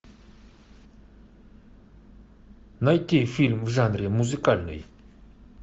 найти фильм в жанре музыкальный